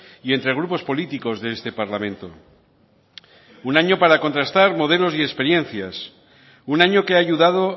y entre grupos políticos de este parlamento un año para contrastar modelos y experiencias un año que ha ayudado